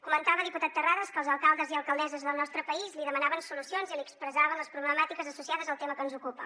comentava diputat terrades que els alcaldes i alcaldesses del nostre país li demanaven solucions i li expressaven les problemàtiques associades al tema que ens ocupa